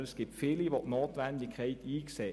Vielmehr sehen viele die Notwendigkeit ein.